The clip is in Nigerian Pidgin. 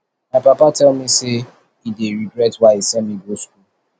my papa tell me say he dey regret why he send me go school